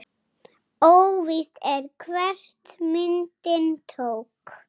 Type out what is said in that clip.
Óvíst er, hver myndina tók.